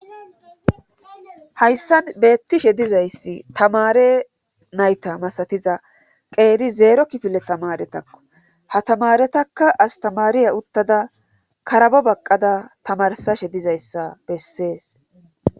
hayssan beettishe dizayssi tamare nayta masatiza qeeri zeero kifile tamaretakko ha tamaretakka astamariya uttada karabo baqqada tamarsashe dizayssa bessees